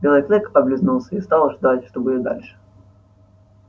белый клык облизнулся и стал ждать что будет дальше